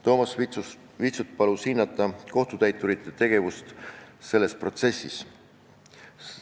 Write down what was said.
Toomas Vitsut palus hinnata kohtutäiturite tegevust selles protsessis.